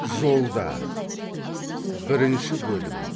жолда бірінші бөлім